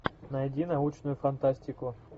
найди научную фантастику